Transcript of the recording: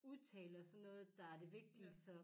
Udtale og sådan noget der er det vigtige